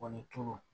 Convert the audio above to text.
Kɔ ni tulu